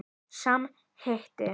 Sami hiti.